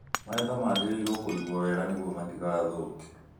Magetha magĩrĩirũo kũigwo ega nĩguo matigathũke